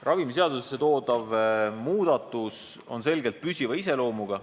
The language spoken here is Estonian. Ravimiseadusesse toodav muudatus on selgelt püsiva iseloomuga.